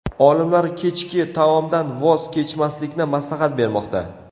Olimlar kechki taomdan voz kechmaslikni maslahat bermoqda.